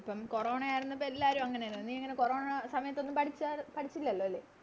corona ആയിരുന്നപ്പോ എല്ലാരും അങ്ങനെന്നെ നീയിങ്ങനെ കോറോണേടെ സമയത്തൊന്നും പഠിചാരു പഠിച്ചില്ലല്ലോ അല്ലെ